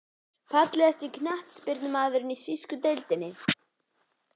Fallegasti knattspyrnumaðurinn í þýsku deildinni?